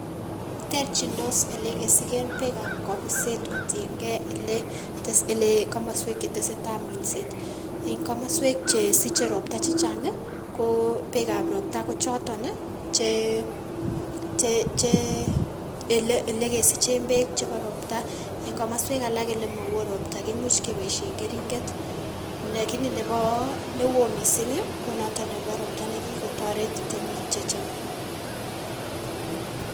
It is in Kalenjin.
Terchindos ilekesiken bekab kobiset kotiengei ile tes ile komosuek chetesetai minset . En komosuek chesiche ropta chechang' ii kobekab ropta kochoton che che chee ilekesichen beek chebo ropta . En komosuek alak ilemowo ropta kimuche kebosien keringet nekini nebo newo missing' konoton nebo ropta nekitoret temik chechang'.